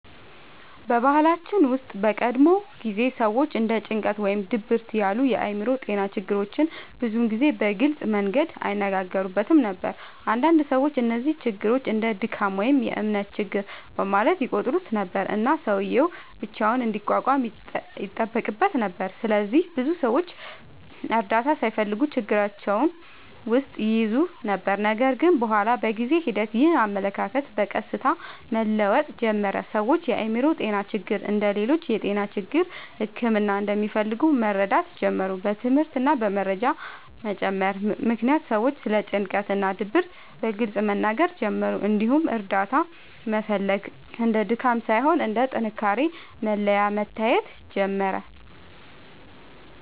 በባህላችን ውስጥ በቀድሞ ጊዜ ሰዎች እንደ ጭንቀት ወይም ድብርት ያሉ የአእምሮ ጤና ችግሮችን ብዙ ጊዜ በግልጽ መንገድ አይነጋገሩበትም ነበር። አንዳንድ ሰዎች እነዚህን ችግሮች እንደ “ድካም” ወይም “እምነት ችግር” በማለት ይቆጥሩ ነበር፣ እና ሰውዬው ብቻውን እንዲቋቋም ይጠበቅበት ነበር። ስለዚህ ብዙ ሰዎች እርዳታ ሳይፈልጉ ችግራቸውን ውስጥ ይይዙ ነበር። ነገር ግን በኋላ በጊዜ ሂደት ይህ አመለካከት በቀስታ መለወጥ ጀመረ። ሰዎች የአእምሮ ጤና ችግሮች እንደ ሌሎች የጤና ችግሮች ሕክምና እንደሚፈልጉ መረዳት ጀመሩ። በትምህርት እና በመረጃ መጨመር ምክንያት ሰዎች ስለ ጭንቀት እና ድብርት በግልጽ መናገር ጀመሩ፣ እንዲሁም እርዳታ መፈለግ እንደ ድካም ሳይሆን እንደ ጥንካሬ መለያ መታየት ጀመረ።